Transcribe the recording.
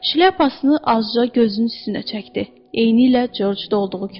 Şlyapasını azca gözünün üstünə çəkdi, eynilə Corcda olduğu kimi.